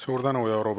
Suur tänu!